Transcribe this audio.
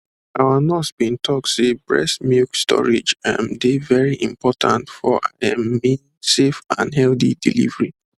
our nurse been talk say breast milk storage um dey very important for i um mean safe and healthy delivery